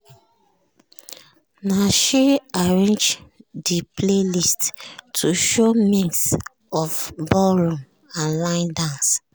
na she arrange de playlist to show mix of ballroom and line dance.